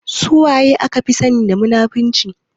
Suwaye aka fi sani da munafurci?